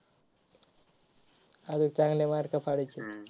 आरे चांगले mark पाडायचेत.